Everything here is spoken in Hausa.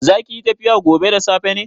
Zakiyi tafiya gobe da safe ne?